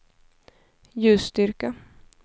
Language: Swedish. ljusstyrka